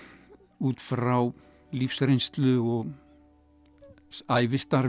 út frá lífsreynslu og ævistarfi